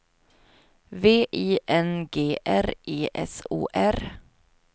V I N G R E S O R